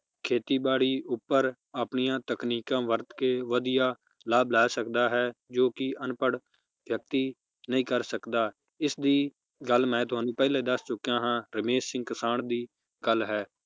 ਖੇਤੀ ਬਾੜੀ ਉਪਰ ਆਪਣੀਆਂ ਤਕਨੀਕਾਂ ਵਰਤ ਕੇ ਵਧੀਆ ਲਾਭ ਲੈ ਸਕਦਾ ਹੈ ਜੋ ਕਿ ਅਨਪੜ੍ਹ ਵਿਅਕਤੀ ਨਹੀਂ ਕਰ ਸਕਦਾ ਇਸ ਦੀ ਗੱਲ ਮੈ ਤੁਹਾਨੂੰ ਪਹਿਲੇ ਦੱਸ ਚੁਕਿਆ ਹਾਂ ਰਮੇਸ਼ ਸਿੰਘ ਕਿਸਾਨ ਦੀ ਗੱਲ ਹੈ